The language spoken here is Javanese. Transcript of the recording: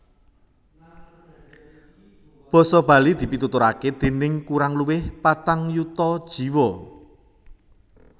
Basa Bali dipituturaké déning kurang luwih patang yuta jiwa